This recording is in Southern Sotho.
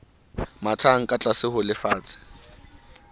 mathang ka tlase ho lefatshe